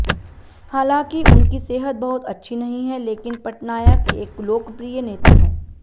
हालांकि उनकी सेहत बहुत अच्छी नहीं है लेकिन पटनायक एक लोकप्रिय नेता हैं